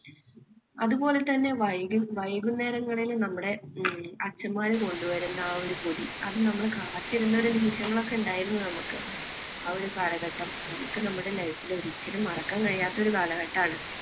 അതുപോലെതന്നെ വൈകും~ വൈകുന്നേരങ്ങളിൽ നമ്മുടെ ഹും അച്ഛന്മാർ കൊണ്ടുവരുന്ന ആ ഒരു പൊതി. അത് നമ്മളെ കാത്തിരുന്ന നിമിഷങ്ങൾ ഒക്കെ ഉണ്ടായിരുന്നു നമുക്ക്. ആ ഒരു കാലഘട്ടം നമുക്ക് നമ്മുടെ life ൽ ഒരിക്കലും മറക്കാൻ കഴിയാത്ത ഒരു കാലഘട്ടമാണ്.